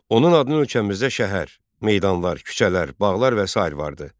Onun adının ölkəmizdə şəhər, meydanlar, küçələr, bağlar və sair vardı.